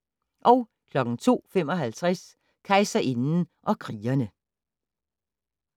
02:55: Kejserinden og krigerne